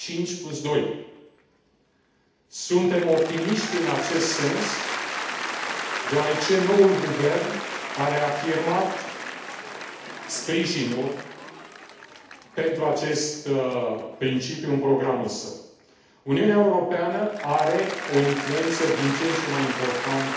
52. Suntem optimiști în acest sens deoarece noul guvern a reafirmat sprijinul pentru acest principiu în programul său. Uniunea Europeană are o influență din ce în ce mai importantă